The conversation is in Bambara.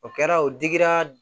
O kɛra o digira